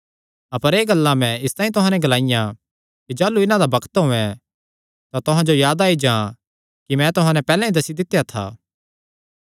अपर एह़ गल्लां मैं इसतांई तुहां नैं ग्लाईयां कि जाह़लू इन्हां दा बग्त औयें तां तुहां जो याद आई जां कि मैं तुहां नैं पैहल्लैं ई दस्सी दित्या था मैं सुरू च तुहां नैं एह़ गल्लां इसतांई नीं ग्लाईयां क्जोकि मैं तुहां सौगी था